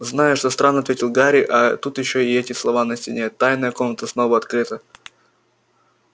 знаю что странно ответил гарри а тут ещё и эти слова на стене тайная комната снова открыта